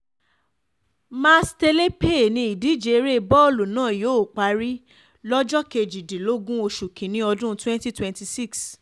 mástelepé ni ìdíje eré bọ́ọ̀lù náà yóò parí lọ́jọ́ kejìdínlógún oṣù kínní ọdún twenty twenty six